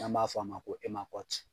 N'an b'a fɔ a ma ko